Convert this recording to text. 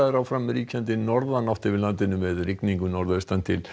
áfram er ríkjandi norðanátt yfir landinu með rigningu norðaustan til